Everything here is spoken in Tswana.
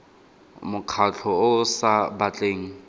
mokgatlho o o sa batleng